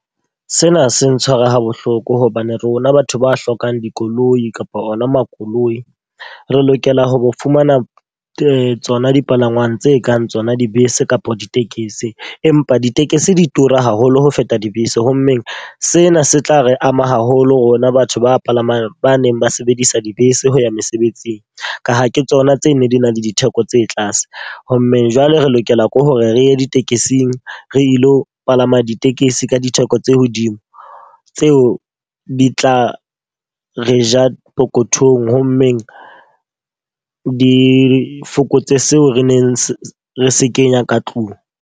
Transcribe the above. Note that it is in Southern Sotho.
Sena se ntshwara ha bohloko hobane rona batho ba hlokang dikoloi kapa ona makoloi. Re lokela ho fumana tsona dipalangwang tse kang tsona, dibese kapa ditekesi. Empa ditekesi di tura haholo holo ho feta dibese. Ho mmeng sena se tla re ama haholo rona batho ba palamang ba neng ba sebedisa dibese ho ya mesebetsing. Ka ha ke tsona tse nne di na le ditheko tse tlase. Ho mmeng jwale re lokela ke hore re ye ditekesing, re ilo palama ditekesi ka ditheko tse hodimo. Tseo di tla re ja pokothong ho mmeng di fokotse seo re neng re se kenya ka tlung.